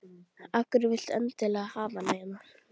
Af hverju viltu endilega hafa hana hérna?